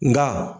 Nka